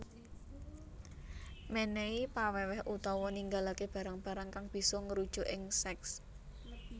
Menehi paweweh utawa ninggalake barang barang kang bisa ngrujuk ing seks